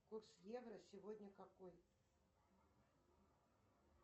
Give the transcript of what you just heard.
курс евро сегодня какой